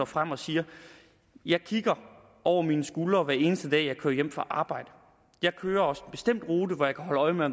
frem og siger jeg kigger over mine skuldre hver eneste dag jeg kører hjem fra arbejde jeg kører også en bestemt rute hvor jeg kan holde øje med